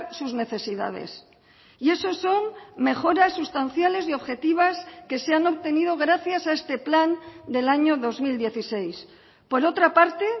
sus necesidades y eso son mejoras sustanciales y objetivas que se han obtenido gracias a este plan del año dos mil dieciséis por otra parte